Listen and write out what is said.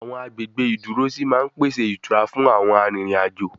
Àwọn agbègbè ìdúrósí máa ń pèsè ìtura frun àwọn arìnriǹ-àjo